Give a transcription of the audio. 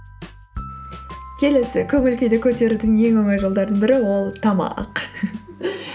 келесі көңіл күйді көтерудің ең оңай жолдардың бірі ол тамақ